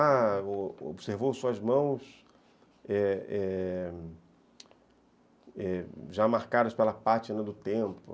Ah, observou suas mãos é é já marcadas pela página do tempo.